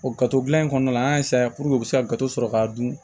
O gafe dilan in kɔnɔna an y'a u bɛ se ka gato sɔrɔ k'a dun